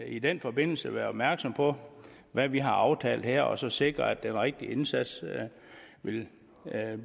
i den forbindelse være opmærksom på hvad vi har aftalt her og så sikre at den rigtige indsats vil